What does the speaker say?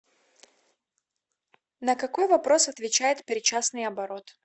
на какой вопрос отвечает причастный оборот